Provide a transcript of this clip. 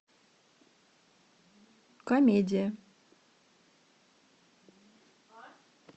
комедия